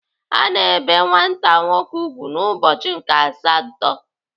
Ana ebe nwata nwoke ùgwù n'ụbọchị nke asatọ.